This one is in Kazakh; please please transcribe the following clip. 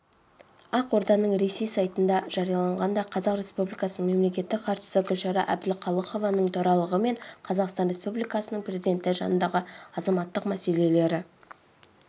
ақорданың реси сайтында жарияланғандай қазақстан республикасының мемлекеттік хатшысы гүлшара әбдіқалықованың төрағалығымен қазақстан республикасының президенті жанындағы азаматтық мәселелері